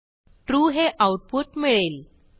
true हे output मिळेल